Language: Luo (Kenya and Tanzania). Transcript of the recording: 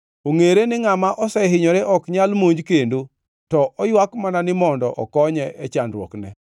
“Ongʼere ni ngʼama osehinyore ok nyal monj kendo, to oywak mana ni mondo okonye e chandruokne.